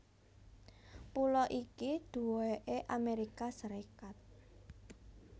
Pulo iki duweké Amérika Sarékat